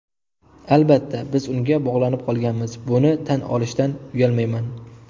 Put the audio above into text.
Albatta, biz unga bog‘lanib qolganmiz, buni tan olishdan uyalmayman.